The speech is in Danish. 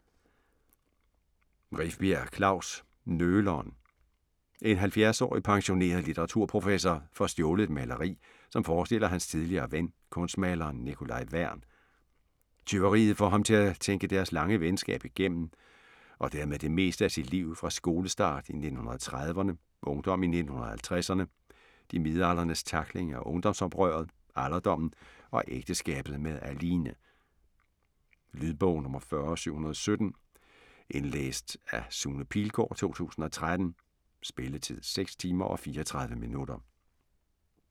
Rifbjerg, Klaus: Nøleren En 70-årig pensioneret litteraturprofessor får stjålet et maleri, som forestiller hans tidligere ven kunstmaleren Nikolaj Værn. Tyveriet får ham til at tænke deres lange venskab igennem og dermed det meste sit liv fra skolestart i 1930'erne, ungdom i 1950'erne, de midaldrendes tackling af ungdomsoprøret, alderdommen og ægteskabet med Aline. Lydbog 40717 Indlæst af Sune Pilgaard, 2013. Spilletid: 6 timer, 34 minutter.